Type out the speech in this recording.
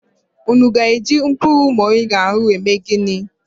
Unu aga eji mkpuru moringa ahụ eme ginị